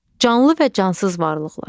Canlı və cansız varlıqlar.